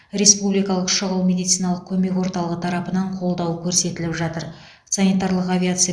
республикалық шұғыл медициналық көмек орталығы тарапынан қолдау көрсетіліп жатыр санитарлық авиация